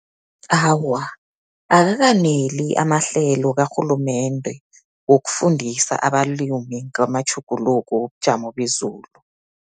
Awa, akakaneli amahlelo karhulumende, wokufundisa abalimi ngamatjhuguluko wobujamo bezulu.